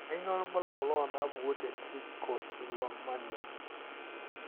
Kainyio irbulabul onaapuku eTrichotillomania?